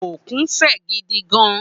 Ókún fë gidi gán